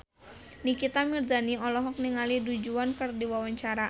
Nikita Mirzani olohok ningali Du Juan keur diwawancara